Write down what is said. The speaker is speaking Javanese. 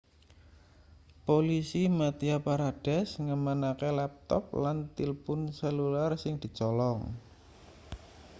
polisi madhya pradesh ngamanake laptop lan tilpun selular sing dicolong